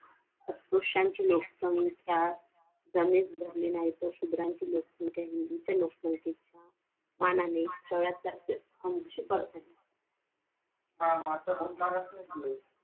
अस्पृश्यांची लोकसंख्या धरली नाही तर शूद्रांची लोकसंख्या हि उच्च लोकसंख्येच्या मानाने सगळ्यात जास्त ऐंशी percent